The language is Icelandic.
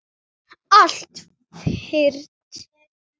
Allt fyrnt.